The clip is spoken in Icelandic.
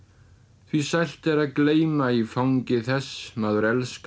því sælt er að gleyma í fangi þess maður elskar